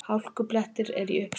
Hálkublettir eru í uppsveitum